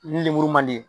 Ni lemuru man di